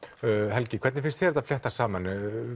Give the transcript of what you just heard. helgi hvernig finnst þér þetta fléttast saman